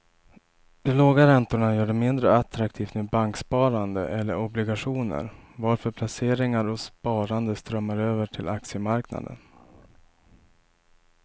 De låga räntorna gör det mindre attraktivt med banksparande eller obligationer varför placeringar och sparande strömmar över till aktiemarknaden.